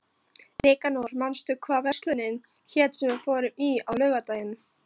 Nikanor, manstu hvað verslunin hét sem við fórum í á laugardaginn?